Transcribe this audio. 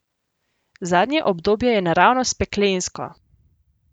Zadnje obdobje je naravnost peklensko!